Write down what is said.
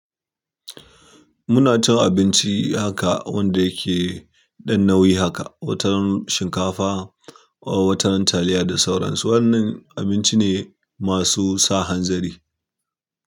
Muna cin abinci haka wanda yake ɗan nauyi haka, wataran shinkafa ko wataran taliya da sauransu. Wannan abinci ne masu sa hanzari.